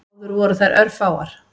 Áður voru þær örfáar.